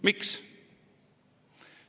Miks?